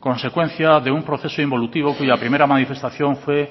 consecuencia de un proceso involutivo cuya primera manifestación fue